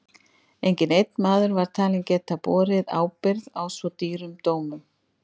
Enginn einn maður var talinn geta borið ábyrgð á svo dýrum dómum.